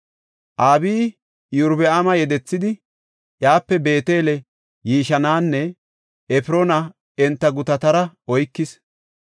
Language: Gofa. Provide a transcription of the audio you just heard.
Abiyi Iyorbaama yedethidi iyape Beetele, Yishananne Efroona enta gutatara oykis.